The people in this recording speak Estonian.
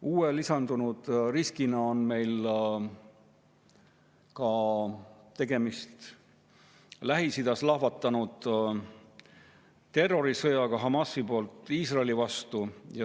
Uue, lisandunud riskina on meil tegemist Lähis-Idas lahvatanud terrorisõjaga Hamasi poolt Iisraeli vastu.